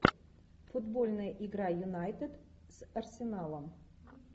футбольная игра юнайтед с арсеналом